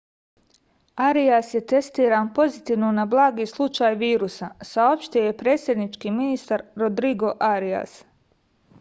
arias je testiran pozitivno na blagi slučaj virusa saopštio je predsednički ministar rodrigo arias